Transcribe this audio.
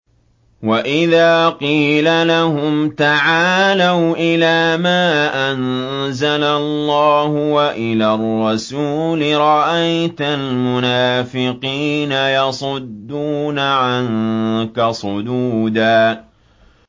وَإِذَا قِيلَ لَهُمْ تَعَالَوْا إِلَىٰ مَا أَنزَلَ اللَّهُ وَإِلَى الرَّسُولِ رَأَيْتَ الْمُنَافِقِينَ يَصُدُّونَ عَنكَ صُدُودًا